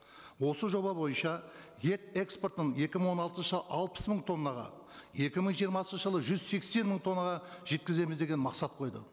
осы жоба бойынша ет экспортын екі мың он алтыншы алпыс мың тоннаға екі мың жиырмасыншы жылы жүз сексен мың тоннаға жеткіземіз деген мақсат қойды